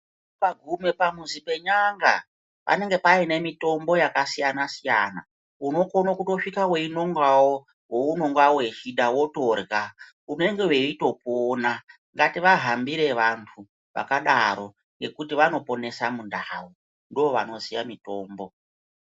Ukagume pamuzi pen'anga panenge paine mitombo yakasiyana-siyana. Unokone kutosvika weinongawo waunonga uchida, wotorya, unenge weitopona. Ngativahambire vantu vakadaro nekuti vanoponesa mundau, ndovanoziya mitombo.